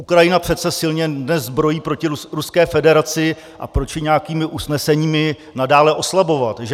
Ukrajina přece silně dnes zbrojí proti Ruské federaci, a proč ji nějakými usneseními nadále oslabovat, že?